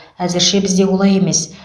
әзірше бізде олай емес